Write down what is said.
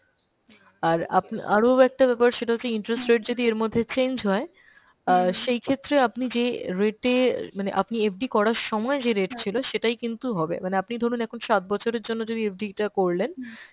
আর আপনা~ আরও একটা ব্যাপার সেটা হচ্ছে interest rate যদি এর মধ্যে change হয় অ্যাঁ সেই ক্ষেত্রে আপনি যে rate এ মানে আনি FD করার সময় যে rate ছিল সেটাই কিন্তু হবে। মানে আপনি ধরুন এখন সাত বছরের জন্য যদি FD টা করলেন